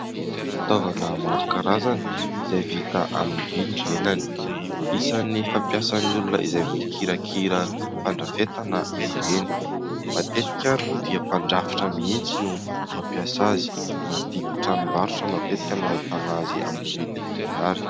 Fitaovana maro karazana izay vita amin'ny vy ny lelany, isany fampiasan'ny olona izay mikirakira fandrafetana izy ireny, matetika ary moa dia mpandrafitra mihitsy no mampiasa azy anaty tranombarotra matetika no ahitana azy amin'ny vidiny mirary.